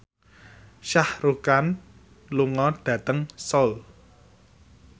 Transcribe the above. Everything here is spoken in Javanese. Shah Rukh Khan lunga dhateng Seoul